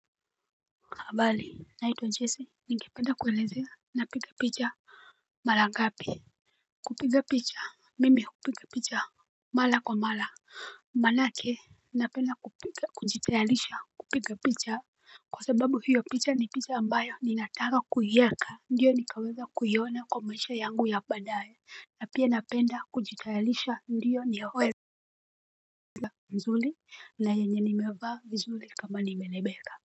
Habali naitwa jesse ningependa kuelezea napiga picha. Mala gapi. Kupiga picha. Mimi hupiga picha. Mala kwa mala. Manake napenda kupika kujitayalisha kupiga picha. Kwa sababu hiyo picha ni picha ambayo ninataka kuiyeka. Ndiyo nikaweza kuiona kwa maisha yangu ya baadae. Napia napenda kujitayalisha ndiyo niyaweza. Zuli na yenye nimevaa vizuli kama nimelebeka.